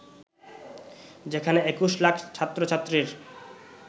যেখানে ২১ লাখ ছাত্র-ছাত্রীর